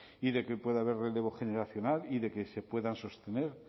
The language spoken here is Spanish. y de que pueda haber relevo generacional y de que se puedan sostener